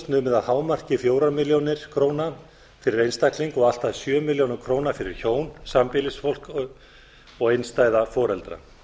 numið að hámarki fjórar milljónir króna fyrir einstakling og allt að sjö milljónir króna fyrir hjón sambýlisfólk og einstæða foreldra